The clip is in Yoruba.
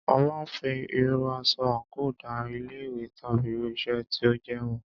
A máà ń fí irú aṣọ àńkò da ilé ìwé tàbí irú iṣẹ́ tí o jẹ́ mọ̀.